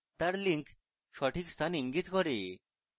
তার links সঠিক স্থান ইঙ্গিত করে